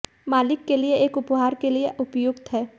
मालिक के लिए एक उपहार के लिए उपयुक्त है